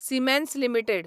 Siemens limited